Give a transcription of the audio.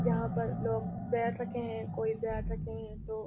जहाँ पर लोग बैट रखे हैं कोई बैट रखे हैं तो --